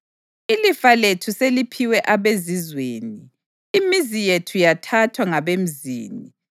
Ilifa lethu seliphiwe abezizweni, imizi yethu yathathwa ngabemzini.